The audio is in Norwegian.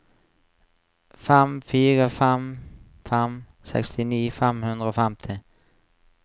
fem fire fem fem sekstini fem hundre og femti